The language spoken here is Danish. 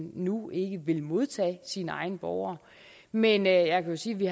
nu ikke vil modtage sine egne borgere men jeg kan sige at vi